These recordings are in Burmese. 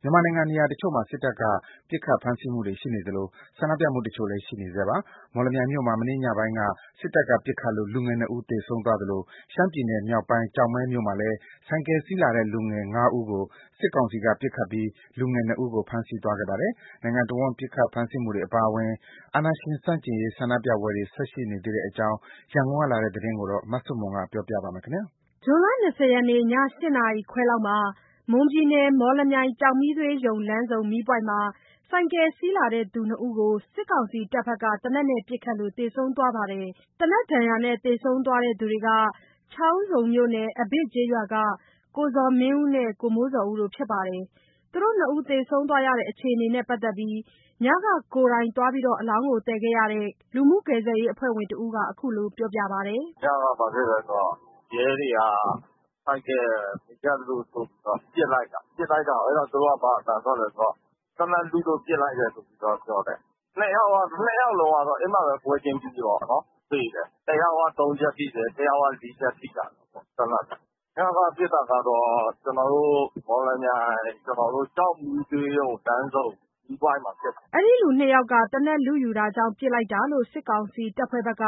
မြန်မာနိုင်ငံနေရာတချို့မှာ စစ်တပ်က ပစ်ခတ်ဖမ်းဆီးမှုတွေရှိနေသလို၊ ဆန္ဒပြမှုတချို့လည်း ရှိနေဆဲပါ။ မော်လမြိုင်မြို့မှာ မနေ့ညပိုင်းက စစ်တပ်က ပစ်ခတ်လို့ လူငယ်နှစ်ဦး သေဆုံးသွားသလို၊ ရှမ်းပြည်နယ် မြောက်ပိုင်း ကျောက်မဲမြို့မှာလည်း ဆိုင်ကယ်စီးလာတဲ့ လူငယ် ၅ ဦးကို စစ်ကောင်စီတပ်က ပစ်ခတ်ပြီး လူငယ် ၂ ဦးကို ဖမ်းဆီးသွားပါတယ်။ နိုင်ငံတစ်ဝန်း ပစ်ခတ်မှု ဖမ်းဆီးမှုတွေ အပါအဝင် အာဏာရှင် ဆန့်ကျင်ရေး ဆန္ဒပြပွဲတွေ ဆက်ရှိနေသေးတဲ့အကြောင်း ရန်ကုန်က လာတဲ့သတင်းကို မဆုမွန် ပြောပြပါမယ်။ ဇွန်လ ၂၀ ရက်နေ့ ည၈ နာရီခွဲလောက်မှာ မွန်ပြည်နယ် မော်လမြိုင်ကျောက်မီးသွေးရုံ လမ်းဆုံ မီးပွိုင့်မှာ ဆိုင်ကယ်စီးလာတဲ့ လူနှစ်ဦးကို စစ်ကောင်စီတပ်တွေက သေနတ်နဲ့ပစ်ခတ်လို့ သေဆုံးသွားပါတယ်။ သေနတ်ဒဏ်ရာနဲ့ သေဆုံးသွားတဲ့သူတွေက ချောင်းဆုံမြို့နယ် အဘစ်ကျေးရွာက ကိုဇော်မင်းဦးနဲ့ ကိုမိုးဇော်ဦးတို့ဖြစ်ပါတယ်။ သူတို့နှစ်ဦးသေဆုံးသွားတဲ့အခြေအနေနဲ့ ပတ်သက်ပြီး ညက ကိုယ်တိုင် အလောင်းသယ်ခဲ့တဲ့ လူမှုကယ်ဆယ်ရေးအဖွဲ့ဝင်တစ်ဦးက အခုလိုပြောပါတယ်။ “ညက ဘာဖြစ်လဲဆိုတော့ ရဲတွေက ဆိုင်ကယ်မရပ်လို့ဆိုပြီးတော့ ပစ်လိုက်တာ၊ ပစ်လိုက်တာကို အဲ့ဒါ သူတို့က ဘာအသံထွက်လဲဆိုတော့ သေနတ်လုလို့ ပစ်လိုက်တယ်ဆိုပြီးတော့ ပြောတယ်၊ နှစ်ယောက်လုံးကတော့ အဲ့မှာပဲ ပွဲချင်းပြီးပေါ့နော် သေတယ်၊ တစ်ယောက် သုံးချက် ထိတယ်၊ တစ်ယောက်က လေးချက်ထိထားတာပေါ့ သေနတ်နဲ့၊ ညက ပစ်တာကတော့ ကျနော်တို့ မော်လမြိုင်ကျောက်မီးသွေးရုံ လမ်းစုံမီးပွိုင့်မှာဖြစ်တာ။” အဲ့ဒီလူနှစ်ယောက်ဟာ သေနတ်လုယူတာကြောင့် ပစ်လိုက်တာလို့ စစ်ကောင်စီတပ်ဖွဲ့ဘက်က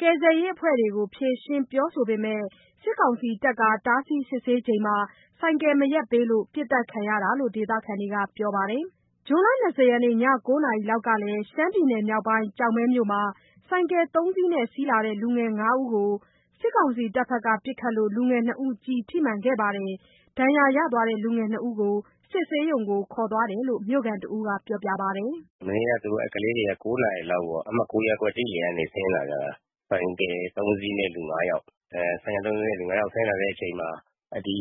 ကယ်ဆယ်ရေးအဖွဲ့တွေကို ဖြေရှင်းပြောဆိုပေမယ့်၊ စစ်ကောင်စီတပ်က တားဆီးစစ်ဆေးနေချိန်မှာ ဆိုက်ကယ် မရပ်ပေးလို့ ပစ်သတ်ခံရတာလို့ ဒေသခံတွေက ပြောပါတယ်။ ဇွန်လ ၂၀ ရက်နေ့ ည ၉ နာရီလောက်က ရှမ်းပြည်နယ်မြောက်ပိုင်း ကျောက်မဲမြို့မှာလည်း ဆိုင်ကယ် ၃ စီးနဲ့ စီးလာတဲ့ လူငယ် ၅ ဦးကို စစ်ကောင်စီတပ်ဖွဲ့တွေ ပစ်ခတ်လို့ လူငယ်နှစ်ဦး ကျည်ထိမှန်သွားပါတယ်။ ဒဏ်ရာရရှိသွားတဲ့ လူငယ်နှစ်ဦးကို စစ်ဆေးရုံကိုခေါ်သွားတယ်လို့ မြို့ခံတစ်ဦးက ပြောပါတယ်။ “မနေ့က အဲ့ကလေးတွေက ၉ နာရီလောက်မှာ အမှတ်(၉ )ရပ်ကွက် ၁လမ်းကနေဆင်းလာတ ဆိုင်ကယ် ၃စီးနဲ့ လူ ၅ယောက်။ အဲ့ဆိုင်ကယ် ၃စီးနဲ့ လူ၅ယောက် ဆင်းလာတဲ့ အချိန်မှာ ဒီ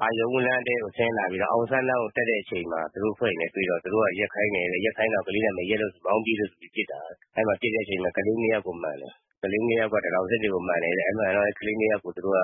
အာရုဏ်ဦး လမ်းထဲကို ဆင်းလာပြီးတော့ အောင်ဆန်လမ်းကိုတက်တဲ့အချိန်မှာ သူတို့ (စစ်ကောင်စီ)အဖွဲ့တွေနဲ့ တွေ့တော့ သူတို့က ရပ်ခိုင်းတယ်တဲ့ ရပ်ခိုင်းတာကို ကလေးတွေမရပ်လို့ဆိုပြီး မောင်းပြေးလို့ဆိုပြီး ပစ်တာတဲ့၊ အဲ့မှာ ပစ်တဲ့အချိန်မှာ ကလေးနှစ်ယောက်ကို မှန်တယ်၊ ကလေးနှစ်ယောက်က တံတောင်ဆစ်တွေကို မှန်တယ်တဲ့ အဲ့မှာကလေးနှစ်ယောက်ကို သူတို့က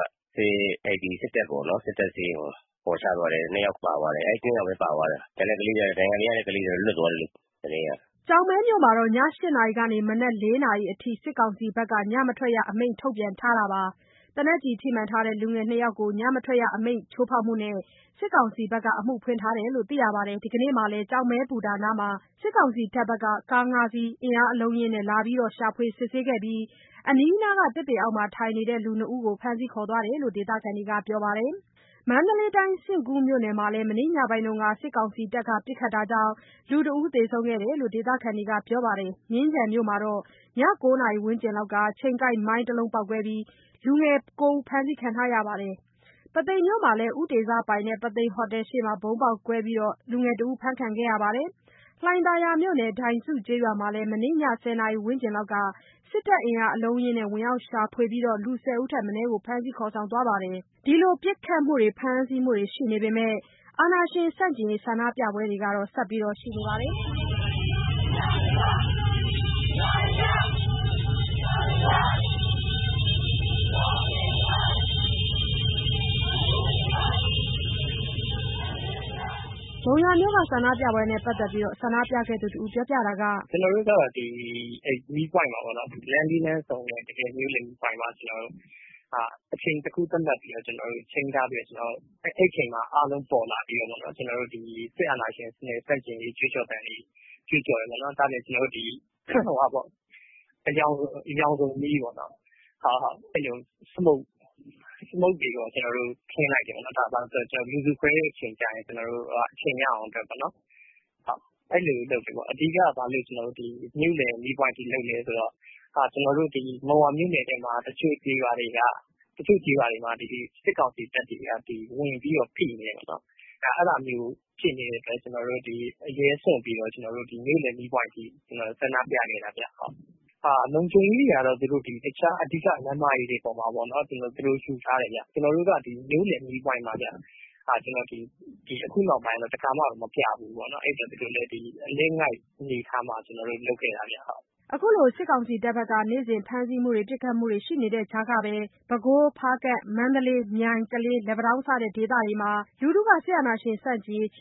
အဲ့ဒီစစ်တပ်ပေါ့နော် စစ်တပ်ဆေးရုံကို ခေါ်ချသွားတယ် နှစ်ယောက်ပါသွားတယ်၊ အဲ့နှစ်ယောက်ပဲပါသွားတယ်၊ ကျန်တဲ့ကလေးတွေက ဒဏ်ရာမရတဲ့ကလေးတွေက လွတ်သွားတယ်လို့ သတင်းရတယ်။” ကျောက်မဲမြို့မှာ ည ၈ နာရီးကနေ မနက် ၄နာရီထိ စစ်ကောင်စီက ညမထွက်ရအမိန့် ထုတ်ပြန်ထား ပါတယ်။ သေနတ်ကျည်ထိမှန်ထားတဲ့ လူငယ်နှစ်ဦးကို ညမထွက်ရအမိန့်ချိုးဖောက်မှုနဲ့ စစ်ကောင်စီက အမှုဖွင့်ထားတယ်လို့ ပြောပါတယ်။ ဒီကနေ့မှာလည်း ကျောက်မဲဘူတာနားမှာ စစ်ကောင်စီတပ်က ကား ၅စီး အင်အားအလုံအရင်းနဲ့ လာပြီး ရှာဖွေစစ်ဆေးတာပြုလုပ်ကာ အနီးအနားကသစ်ပင်အောက်မှာ ထိုင်နေတဲ့ လူနှစ်ဦးကို ဖမ်းဆီးခေါ်သွား တယ်လို့ ဒေသခံက ပြောပါတယ်။ မန္တလေးတိုင်း စဉ့်ကူးမြို့နယ်မှာလည်း မနေ့ညပိုင်းက စစ်ကောင်စီတပ်တွေ ပစ်ခတ်တာကြောင့် လူတဦးသေဆုံးခဲ့တယ်လို့ ဒေသခံတွေက ပြောပါတယ်။ မြင်းခြံမြို့မှာတော့ ည ၉ နာရီဝန်းကျင်လောက်မှာ ချိန်ကိုက်မိုင်းတစ်လုံး ပေါက်ကွဲခဲ့ပြီး လူငယ် ၉ ဦး ဖမ်းဆီးခံထားရပါတယ်။ ပုသိမ်မြို့မှာလည်း မနေ့ညတုန်းက ဦးတေဇပိုင် ပုသိမ်ဟိုတယ်ရှေ့မှာ ဗုံးပေါက်ကွဲခဲ့ပြီး လူငယ် တစ်ဦး ဖမ်းခံထားရပါတယ်။ လှိုင်သာယာမြို့နယ် ဒိုင်စုကျေးရွာမှာလည်း မနေ့ည ၁၀ နာရီဝန်းကျင်လောက်က စစ်တပ်အင်အားအလုံး အရင်းနဲ့ ဝင်ရောက်ရှာဖွေပြီး လူ ၁၀ ဦးထက်မနည်းဖမ်းဆီးသွားပါတယ်။ ဒီလို ပစ်ခတ်မှုတွေ ဖမ်းဆီးမှုတွေ ရှိနေပေမယ့်လည်း အာဏာရှင်ဆန့်ကျင်ရေး ဆန္ဒပြပွဲတချို့လည်း ဆက်ပြီးရှိနေပါတယ်။ ဒီကနေ့ မုံရွာမြို့မှာ မုံရွာမြို့လယ် မီးပွိုင့်မှာ အင်အားတရာဝန်ကျင်လောက် လျှပ်တပြတ်စုပြီး ဆန္ဒပြခဲ့ကြပါတယ်။ “ကျွန်တော်တို့က လမ်းလေးလမ်းဆုံတဲ့ မြို့လယ်မီးပွိုင့်မှာ အချိန်တစ်ခု သတ်မှတ်ပြီး ချိန်းထားပြီးတော့ ကျွန်တော်တို့ အဲ့အချိန်မှာ အားလုံးပေါ်လာပြီးတော့ ကျွန်တော်တို့ ဒီစစ်အာဏာရှင်စနစ် ဆန့်ကျင်ရေး ကြွေးကြော်သံတွေ ကြွေးကြော်တယ်။ အရောင်စုံ Smoke တွေကို ကျွန်တော်တို့ ခင်းလိုက်တယ်ပေါ့နှော်။ ဒါဘာလို့လဲဆိုတော့ လူစုခွဲတဲ့ အချိန်ကျရင် ကျွန်တော်တို့က အချိန်ရအောင်အတွက်ပေါ့နှော်။ အဲ့လို မြို့လယ်မှာ ဘာလို့လုပ်လဲဆို အဓိကက မုံရွာမြို့နယ်ထဲမှာ တစ်ချို့ကျေးရွာတွေမှာ စစ်ကောင်စီတပ်တွေက ဝင်ပြီးတော့ ဖိနေတယ်ပေါ့နှော်။ အဲ့လိုဖြစ်နေတဲ့အတွက် ကျွန်တော်တို့ အရေးစွန့်ပြီးတော့ပေါ့နှော် မြို့လယ်မီးပွိုင့်အထိ တက်ပြီးတော့ ဆန္ဒပြခဲ့တာဗျ။ လုံခြုံရေးတွေကတော့ သူတို့က တခြား အဓိက လမ်းမကြီးတွေမှာပေါ့နှော်၊ အဲ့မှာ လုံခြုံရေးယူထားတယ်ဗျ။ ကျွန်တော်တို့က မြို့လယ်မီးပွိုင့်မှာဗျ။ ခုနောက်ပိုင်းတော့ တစ်ခါမှ မပြဖူးတော့ သူတို့လည်း အလစ်အငိုက် အနေအထားမှာ ကျွန်တော်တို့ လုပ်ခဲ့တာဗျ။” စစ်ကောင်စီတပ်တွေ နေ့စဉ်ဖမ်းဆီးမှု ပစ်ခတ်မှုတွေ ရှိနေတဲ့ ကြားကပဲ ပဲခူး၊ ဖားကန့်၊ မန္တလေး၊ မြိုင်၊ ကလေး၊ လက်ပံတောင်း စတဲ့ ဒေသတွေမှာ ချီ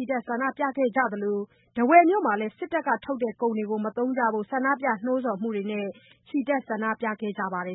တက် ဆန္ဒပြကြသလို၊ ထားဝယ်မှာလည်း စစ်တပ်ထုတ်ကုန်တွေမသုံးကြဖို့ ဆန္ဒပြနှိုးဆော်မှုတွေနဲ့ ချီတက် ဆန္ဒပြခဲ့ပါတယ်